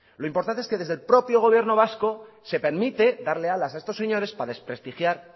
lo importante es que desde el propio gobierno vasco se permite darle alas a estos señores para desprestigiar